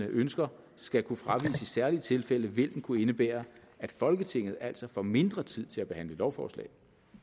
ønsker skal kunne fraviges i særlige tilfælde vil den kunne indebære at folketinget altså får mindre tid til at behandle lovforslag